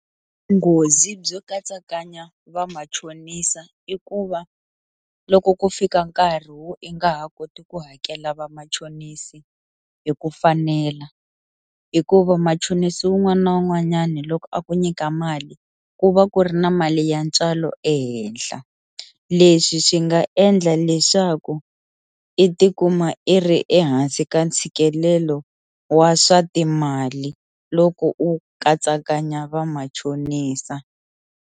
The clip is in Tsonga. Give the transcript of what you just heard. Vunghozi byo katsakanya va machonisa i ku va loko ku fika nkarhi wo i nga ha koti ku hakela vamachonisi hi ku fanela hikuva machonisi wun'wana na wun'wanyana loko a ku nyika mali ku va ku ri na mali ya ntswalo ehenhla, leswi swi nga endla leswaku i tikuma i ri ehansi ka ntshikelelo wa swa timali loko u katsakanya va machonisa.